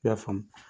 I y'a faamu